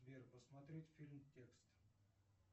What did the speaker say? сбер посмотреть фильм текст